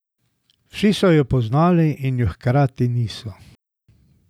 Vsi so jo poznali in je hkrati niso.